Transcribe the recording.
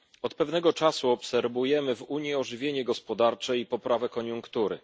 Od pewnego czasu obserwujemy w Unii ożywienie gospodarcze i poprawę koniunktury.